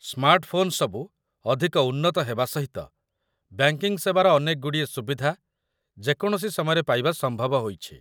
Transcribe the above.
ସ୍ମାର୍ଟଫୋନ୍‌ସବୁ ଅଧିକ ଉନ୍ନତ ହେବା ସହିତ, ବ୍ୟାଙ୍କିଙ୍ଗ ସେବାର ଅନେକଗୁଡ଼ିଏ ସୁବିଧା ଯେକୌଣସି ସମୟରେ ପାଇବା ସମ୍ଭବ ହୋଇଛି